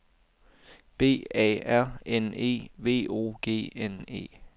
B A R N E V O G N E